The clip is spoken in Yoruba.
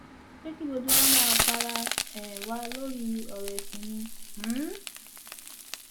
ṣé kí gbogbo wa máa para um wa lórí ọrọ ẹsìn ni um